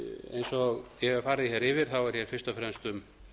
eins og ég hef farið yfir er fyrst og fremst um